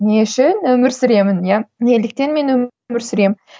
не үшін өмір сүремін иә неліктен мен өмір сүремін